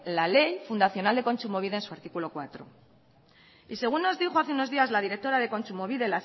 la ley fundacional de kontsumobide en su artículo cuatro según nos dijo hace unos días la directora de kontsumobide